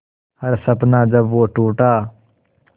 हर सपना जब वो टूटा